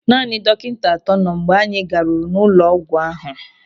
Naanị dọkịta atọ nọ mgbe anyị ga-ruru ụlọ ọgwụ ahụ.